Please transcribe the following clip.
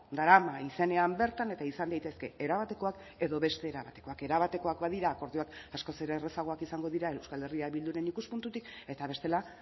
darama izenean bertan eta izan daitezke era batekoak edo beste era batekoak era batekoak badira akordioak askoz ere errazagoak izango dira euskal herria bilduren ikuspuntutik eta bestela